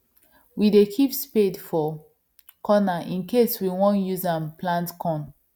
we dey keep spade for corner incase we won use am plant corn